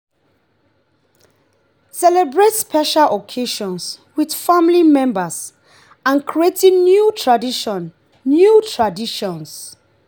celebrate special occasions with family members and creating new traditions new traditions